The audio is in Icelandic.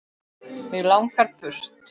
Mig langar burt.